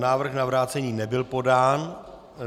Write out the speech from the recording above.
Návrh na vrácení nebyl podán.